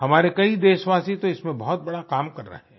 हमारे कई देशवासी तो इसमें बहुत बड़ा काम कर रहे हैं